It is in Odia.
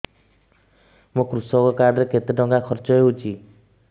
ମୋ କୃଷକ କାର୍ଡ ରେ କେତେ ଟଙ୍କା ଖର୍ଚ୍ଚ ହେଇଚି